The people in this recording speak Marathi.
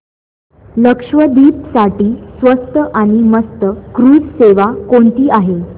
लक्षद्वीप साठी स्वस्त आणि मस्त क्रुझ सेवा कोणती आहे